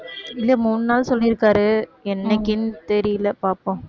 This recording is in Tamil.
இல்ல மூணு நாள் சொல்லியிருக்காரு என்னைக்கின்னு தெரியல பாப்போம்